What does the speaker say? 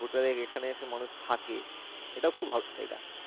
hotel এ এখানে এসে মানুষ থাকে এটাও খুব